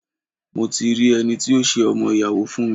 Mo ti mo ti rí ẹni tí yóò ṣe ọmọ-ìyàwó fún mi.